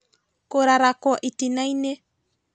Kũrarakwo itinaĩnĩ